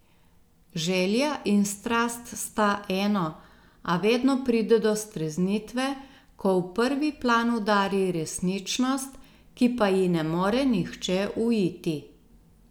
Želja in strast sta eno, a vedno pride do streznitve, ko v prvi plan udari resničnost, ki pa ji ne more nihče uiti.